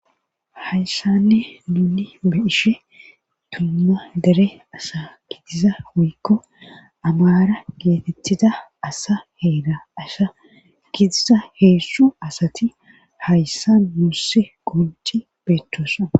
hayssanne nuni beishe dumma dere asa gidiza hoykko amara geetettida asa heera asha gidiza heezu asati haysssa muussi qunci beettosa